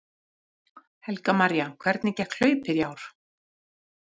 Helga María: Hvernig gekk hlaupið í ár?